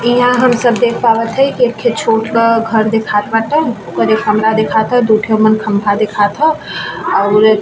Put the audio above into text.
यहाँ हम सब देख पावत है की एक छोटका घर दिखाई पड़तउ ओकर एक कमरा दिखात हो दू ठो मन खम्बा दिखात हो और --